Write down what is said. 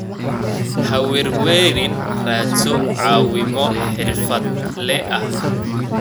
Ha werwerin, raadso caawimo xirfadle ah.